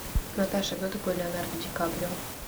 наташа кто такой леонардо ди каприо